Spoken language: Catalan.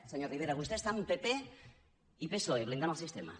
senyor rivera vostè està amb pp i psoe blindant el sistema